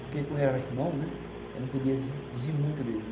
Porque como ele era meu irmão, né, eu não podia exigir muito dele.